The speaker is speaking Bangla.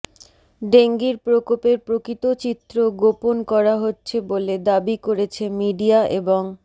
ডেঙ্গির প্রকোপের প্রকৃত চিত্র গোপন করা হচ্ছে বলে দাবি করেছে মিডিয়া এবং